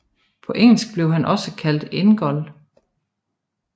På engelsk bliver han også kaldt Ingold